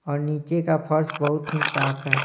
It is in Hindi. और नीचे का फर्स बहुत ही साफ है।